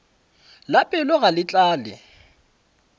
la pelo ga le tlale